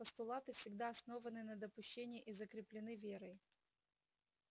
постулаты всегда основаны на допущении и закреплены верой